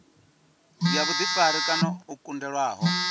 ya vhuḓifari kana o kundelwaho